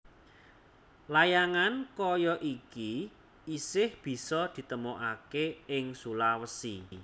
Layangan kaya iki isih bisa ditemokaké ing Sulawesi